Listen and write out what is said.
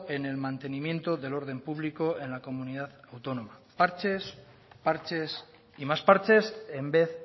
en el mantenimiento del orden público en la comunidad autónoma parches parches y más parches en vez